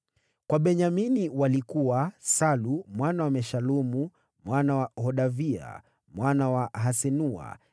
Kwa Benyamini walikuwa: Salu mwana wa Meshulamu, mwana wa Hodavia, mwana wa Hasenua;